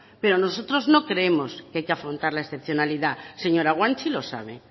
pero nosotros no creemos que hay que afrontar la excepcionalidad señora guanche y lo sabe